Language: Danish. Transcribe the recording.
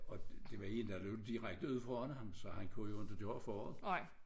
Og det var en der løb direkte ud foran ham så han kunne jo ikke gøre for det